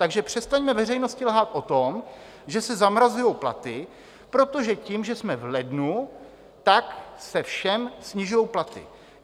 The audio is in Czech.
Takže přestaňme veřejnosti lhát o tom, že se zamrazují platy, protože tím, že jsme v lednu, tak se všem snižují platy.